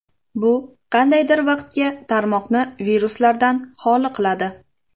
Bu qandaydir vaqtga tarmoqni viruslardan xoli qiladi.